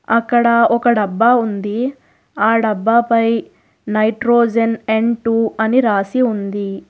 అక్కడ ఒక డబ్బా ఉంది ఆ డబ్బాపై నైట్రోజన్ ఎన్ టూ అని రాసి ఉంది.